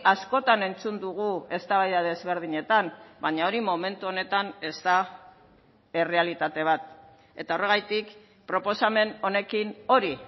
askotan entzun dugu eztabaida desberdinetan baina hori momentu honetan ez da errealitate bat eta horregatik proposamen honekin hori